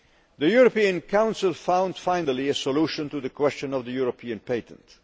The European Council found finally a solution to the question of the European patent.